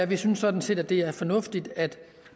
vi synes sådan set at det er fornuftigt at